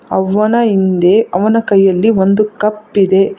ಅವನ ಹಿಂದೆ ಅವನ ಕೈಯಲ್ಲಿ ಒಂದು ಕಪ್ ಇದೆ.